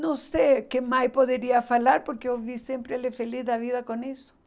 Não sei o que mais poderia falar, porque eu vi sempre ele feliz da vida com isso.